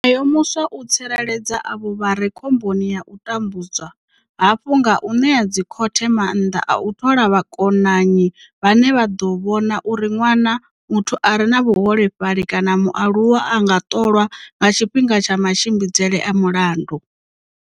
Nayo muswa u tsireledza avho vha re khomboni ya u tambudzwa hafhu nga u ṋea dzikhothe maanḓa a u thola vhakonanyi vhane vha ḓo vhona uri ṅwana, muthu a re na vhuholefhali kana mualuwa a nga ṱolwa nga tshifhinga tsha matshimbidzele a mulandu.